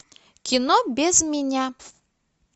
кино без меня